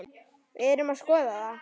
Við erum að skoða það.